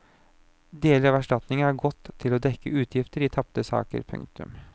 Deler av erstatningene har gått til å dekke utgifter i tapte saker. punktum